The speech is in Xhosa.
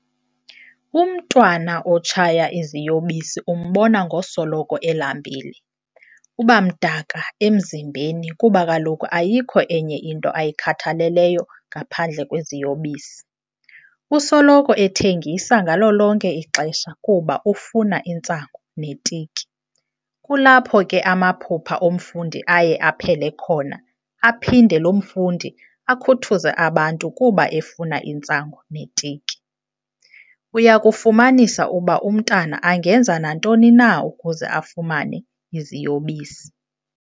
Umntwana otshaya iziyobisi umbona ngosolo elambile ,uba mdaka emzimbeni kuba kaloku ayikho enye into ayikhathaleleyo ngaphandle kweziyobisi. Usoloko ethengisa ngalo lonke ixesha kuba ufuna intsangu ne tiki kulapho ke amaphupha omfundi aye aphele khona aphinde lomfundi akhuthuze abantu kuba efuna intsangu ne tiki. Uyakufumanisa uba umntana angenza nantoni na ukuze afumane iziyobisi.